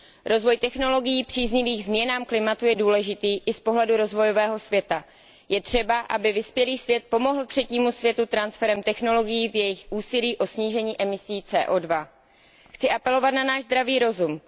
Rozvoj technologií příznivých změnám klimatu je důležitý i z pohledu rozvojového světa. Je třeba, aby vyspělý svět pomohl třetímu světu transferem technologií v jejich úsilí o snížení emisí CO 2 Chci apelovat na náš zdravý rozum.